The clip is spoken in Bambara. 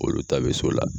Olu ta bɛ so la